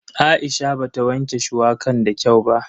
Aisha bata wanke shuwakan da kyau ba.